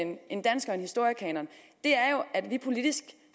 en dansk og historiekanon er at vi politisk